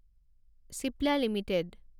Cipla limited